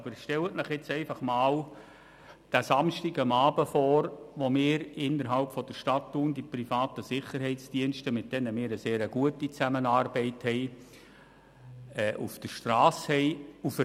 Aber stellen Sie sich einfach einmal den Samstagabend vor, wenn die privaten Sicherheitsdienste, mit denen wir eine sehr gute Zusammenarbeit haben, auf der Strasse von Stadt Thun sind.